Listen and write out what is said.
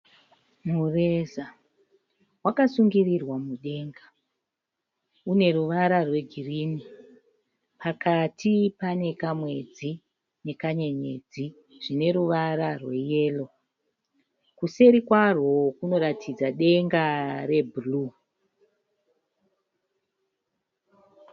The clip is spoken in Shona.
Mureza wakasungirirwa mudenga. Uneruvara rwe girinhi. Pakati pane kamwedzi nekanyenyedzi zvine ruvara rwe yero. Kuseri kwarwo kunoratidza denga re bhuruu.